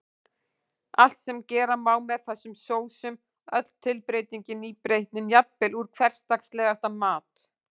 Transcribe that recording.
Allt sem gera má með þessum sósum, öll tilbreytingin, nýbreytnin, jafnvel úr hversdagslegasta mat.